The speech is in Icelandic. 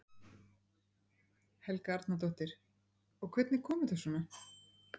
Helga Arnardóttir: Og hvernig kom þetta svona?